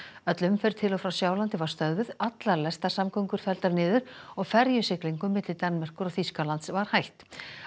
öll umferð til og frá Sjálandi var stöðvuð allar lestasamgöngur felldar niður og ferjusiglingum milli Danmerkur og Þýskalands var hætt